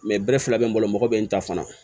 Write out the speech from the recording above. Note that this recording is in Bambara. bɛrɛ fila bɛ n bolo mɔgɔ bɛ n ta fana